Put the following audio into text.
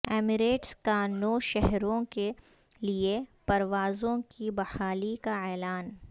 Emirates کا نو شہروں کے لیے پروازوں کی بحالی کا اعلان